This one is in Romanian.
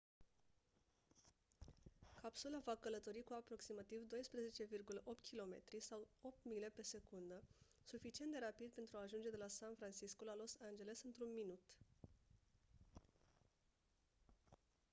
capsula va călători cu aproximativ 12,8 km sau 8 mile pe secundă suficient de rapid pentru a ajunge de la san francisco la los angeles într-un minut